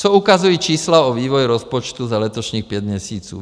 Co ukazují čísla o vývoji rozpočtu za letošních pět měsíců?